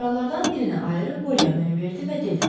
Açarlardan birini ayırıb Polyanaya verdi və dedi: